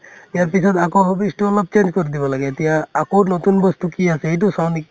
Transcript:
ইয়াৰ পিছত আকৌ hobbies তো অলপ change কৰি দিব লাগে । এতিয়া আকৌ নতুন বস্তু কি আছে , এইটো চাও নেকি